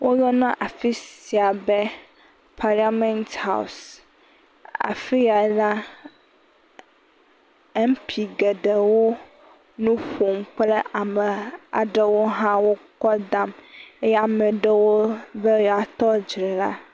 Woyɔna afi sia be paliament haɔs. Afi ya la MP geɖewo nu ƒom kple ame aɖewo hã wo kɔ dam eye ame aɖewo be yewoa tɔ dzre la.